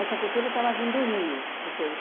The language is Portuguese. cultura estava vindo do Rio? Quer dizer, os